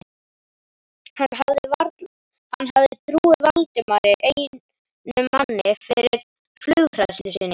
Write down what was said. Hann hafði trúað Valdimari einum manna fyrir flughræðslu sinni.